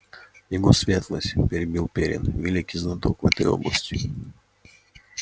его светлость перебил пиренн великий знаток в этой области